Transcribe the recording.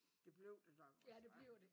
Det blev det nok også ja